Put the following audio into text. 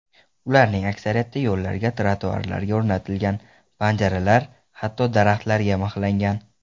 Ularning aksariyati yo‘llarga, trotuarlarga o‘rnatilgan, panjaralar, hatto daraxtlarga mixlangan.